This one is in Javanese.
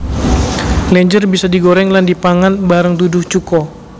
Lenjer bisa digoreng lan dipangan bareng duduh cuko